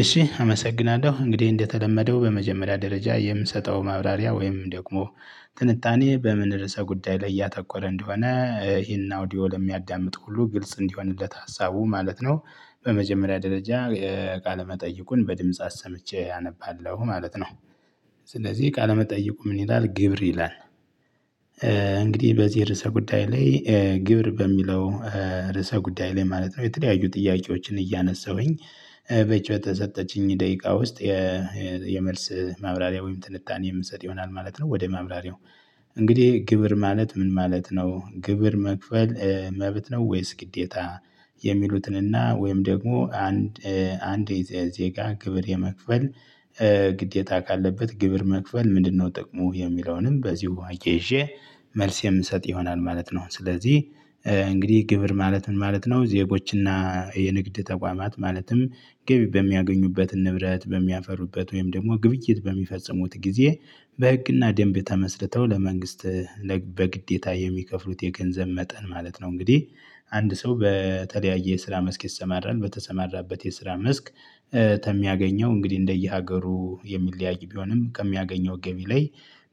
እሺ አመሰግናለሁ እንግዲህ እንደተለመደው በመጀመሪያ ደረጃ የምሰጠው ማብራሪያ ወይም ደግሞ ትንታኔ በምን ርዕሰ ጉዳይ ላይ እያተኮረ እንደሆነ ይሄን አውዲዮ ለሚያዳምጥ ሁሉ ግልጽ እንዲሆንለት ሀሳቡ ማለት ነው። በመጀመሪያ ደረጃ ቃለ መጠይቁን በድምጽ አሰምቼ አነባለሁ ማለት ነው። ስለዚህ ቃለመጠይቁ ምን ይላል ግብር ይላል? እንግዲህ በዚህ ርዕሰ ጉዳይ ላይ ግብር በሚለው ርዕሰ ጉዳይ ላይ ማለት ነው የተለያዩ ጥያቄዎችን እያነሳሁኝ በዚ በተሰጠችኝ ደቂቃ ውስጥ። የመልስ ማብራሪያ ወይም ትንታኔ የምሰጥ ይሆናል ማለት ነው። ወደ ማብራሪያው። እንግዲህ ግብር ማለት ምን ማለት ነው? ግብር መክፈል መብት ነው ወይስ ግዴታ? የሚሉትንና ወይም ደግሞ አንድ አንድ ዜጋ ግብር የመክፈል ግዴታ ካለበት ግብር መክፈል ምንድነው ጥቅሙ የሚለውንም በዚሁ አያይዤ መልስ የምሰጥ ይሆናል ማለት ነው። ስለዚህ እንግዲህ ግብር ማለት ምን ማለት ነው? ዜጎችና የንግድ ተቋማት ማለትም ገቢ በሚያገኙበት ንብረት በሚያፈሩበት ወይም ደግሞ ግብይት በሚፈጽሙት ጊዜ በህግና ደንብ ተመስርተው ለመንግስት በግዴታ የሚከፍሉት የገንዘብ መጠን ማለት ነው። እንግዲህ አንድ ሰው በተለያየ የስራ መስክ ይሰማራል በተሰማራበት የስራ መስክ። ተሚያገኘው እንግዲህ እንደየሀገሩ የሚለያይ ቢሆንም ከሚያገኘው ገቢ ላይ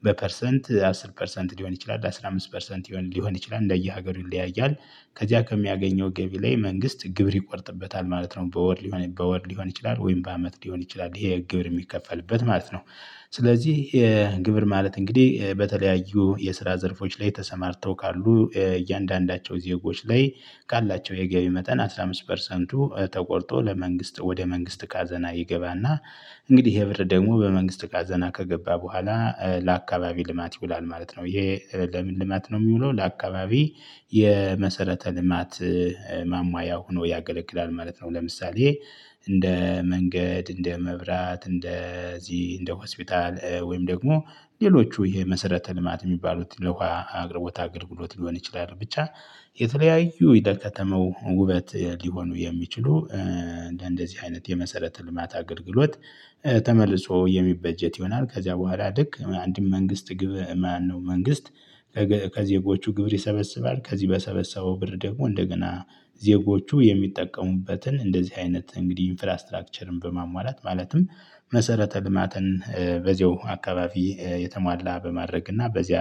በፐርሰንት አስር ፐርሰንት ሊሆን ይችላል አስራ አምስት ፐርሰንት ሊሆን ይችላል እንደየሀገሩ ይለያያል። ከዚያ ከሚያገኘው ገቢ ላይ መንግስት ግብር ይቆርጥበታል ማለት ነው። በወር ሊሆን በወር ሊሆን ይችላል ወይም በአመት ሊሆን ይችላል ይሄ ግብር የሚከፈልበት ማለት ነው። ስለዚህ ግብር ማለት እንግዲህ በተለያዩ የስራ ዘርፎች ላይ ተሰማርተው ካሉ እያንዳንዳቸው ዜጎች ላይ ካላቸው የገቢ መጠን አስራ አምስት ፐርሰንቱ ተቆርጦ ለመንግስት ወደ መንግስት ካዘና ይገባና። እንግዲህ ይሄ ብር ደግሞ በመንግስት ካዘና ከገባ በኋላ ለአካባቢ ልማት ይውላል ማለት ነው። ይሄ ለምን ልማት ነው የሚውለው ለአካባቢ? የመሰረተ ልማት ማሟያ ሆኖ ያገለግላል ማለት ነው። ለምሳሌ እንደ መንገድ እንደ መብራት እንደዚህ እንደ ሆስፒታል ወይም ደግሞ ሌሎቹ የመሰረተ ልማት የሚባሉት ለውሃ አቅርቦት አገልግሎት ሊሆን ይችላል ብቻ። የተለያዩ የደከተማው ውበት ሊሆኑ የሚችሉ እንደደዚህ አይነት የመሰረተ ልማት አገልግሎት። ተመልሶ የሚበጀት ይሆናል። ከዚያ በኋላ ልክ አንድም መንግስት ግብ ማነው መንግስት? ከዜጎቹ ግብር ይሰበስባል ከዚህ በሰበሰበው ብር ደግሞ እንደገና ዜጎቹ የሚጠቀሙበትን እንደዚህ አይነት እንግዲህ ኢንፍራስትራክቸርን በማሟላት ማለትም መሰረተ ልማትን በዚያው አካባቢ የተሟላ በማድረግ እና በዚያ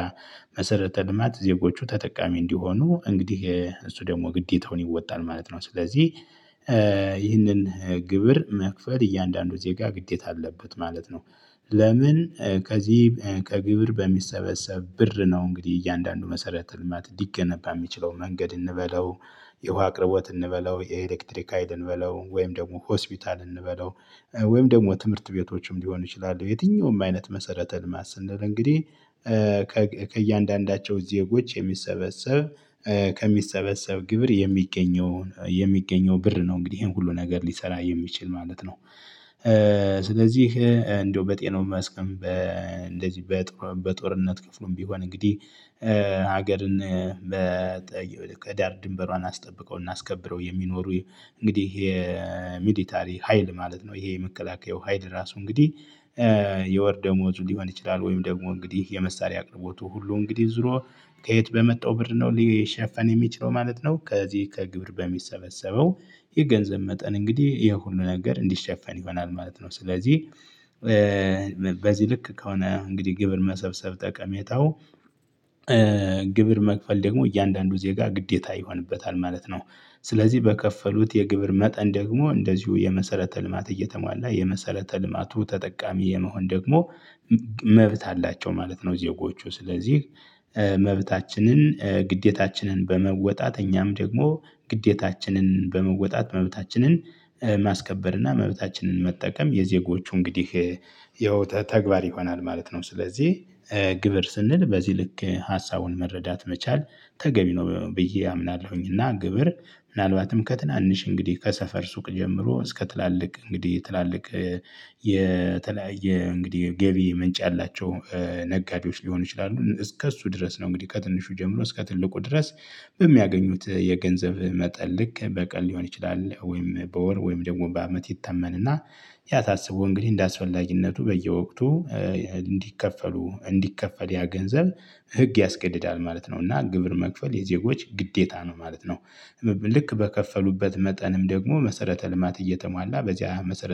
መሰረተ ልማት ዜጎቹ ተጠቃሚ እንዲሆኑ እንግዲህ እሱ ደግሞ ግዴታውን ይወጣል ማለት ነው። ስለዚህ ይህንን ግብር መክፈል እያንዳንዱ ዜጋ ግዴታ አለበት ማለት ነው። ለምን? ከዚህ ከግብር በሚሰበሰብ ብር ነው እንግዲህ እያንዳንዱ መሰረተ ልማት ሊገነባ የሚችለው መንገድ እንበለው። የውሃ አቅርቦት እንበለው የኤሌክትሪክ ሀይል እንበለው ወይም ደግሞ ሆስፒታል እንበለው ወይም ደግሞ ትምህርት ቤቶችም ሊሆኑ ይችላሉ የትኛውም አይነት መሰረተ ልማት ስንል እንግዲህ። ከእያንዳንዳቸው ዜጎች የሚሰበሰብ ከሚሰበሰብ ግብር የሚገኘው የሚገኘው ብር ነው እንግዲህ ይሄን ሁሉ ነገር ሊሰራ የሚችል ማለት ነው። ስለዚህ እንደው በጤናው መስክም በእንደዚህ በጦርነት ክፍሉም ቢሆን እንግዲህ። ሀገርን ከዳር ድንበሯን አስጠብቀው እና አስከብረው የሚኖሩ እንግዲህ ይሄ ሚሊታሪ ሀይል ማለት ነው። ይሄ የመከላከያው ሀይል ራሱ እንግዲህ። የወር ደሞዙ ሊሆን ይችላል ወይም ደግሞ እንግዲህ የመሳሪያ አቅርቦቱ ሁሉ እንግዲህ ዙሮ ከየት በመጣው ብር ነው ሊሸፈን የሚችለው ማለት ነው። ከዚህ ከግብር በሚሰበሰበው የገንዘብ መጠን እንግዲህ የሁሉ ነገር እንዲሸፈን ይሆናል ማለት ነው። ስለዚህ በዚህ ልክ ከሆነ እንግዲህ ግብር መሰብሰብ ጠቀሜታው። ግብር መክፈል ደግሞ እያንዳንዱ ዜጋ ግዴታ ይሆንበታል ማለት ነው። ስለዚህ በከፈሉት የግብር መጠን ደግሞ እንደዚሁ የመሰረተ ልማት እየተሟላ የመሰረተ ልማቱ ተጠቃሚ የመሆን ደግሞ መብት አላቸው ማለት ነው። ዜጎቹ ስለዚህ መብታችንን ግዴታችንን በመወጣት እኛም ደግሞ ግዴታችንን በመወጣት መብታችንን ማስከበር እና መብታችንን መጠቀም የዜጎቹ እንግዲህ ያው ተግባር ይሆናል ማለት ነው። ስለዚህ ግብር ስንል በዚህ ልክ ሀሳቡን መረዳት መቻል ተገቢ ነው። ብዬ አምናለሁኝ። እና ግብር ምናልባትም ከትናንሽ እንግዲህ ከሰፈር ሱቅ ጀምሮ እስከ ትላልቅ እንግዲህ ትላልቅ የተለያየ እንግዲህ ገቢ ምንጭ ያላቸው ነጋዴዎች ሊሆኑ ይችላሉ እስከ እሱ ድረስ ነው። እንግዲህ ከትንሹ ጀምሮ እስከ ትልቁ ድረስ። በሚያገኙት የገንዘብ መጠን ልክ በቀን ሊሆን ይችላል ወይም በወር ወይም ደግሞ በአመት ይተመንና ያ ታስቦ እንግዲህ እንደ አስፈላጊነቱ በየወቅቱ እንዲከፈሉ እንዲከፈል ያ ገንዘብ ህግ ያስገድዳል ማለት ነው። እና ግብር መክፈል የዜጎች ግዴታ ነው ማለት ነው። ልክ በከፈሉበት መጠንም ደግሞ መሰረተ ልማት እየተሟላ በዚያ መሰረት